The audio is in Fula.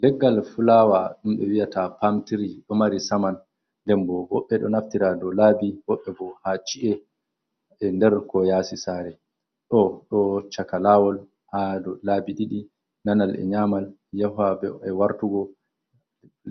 Leggal fulawa dumdo wi’ata pam tirido mari saman nden bo wobbe do naftira ɗo labi woɓɓe bo ha ci’e nder ko yasi sare o ɗo chaka lawol ha dow labi didi nanal e nyamal yaha be e wartugo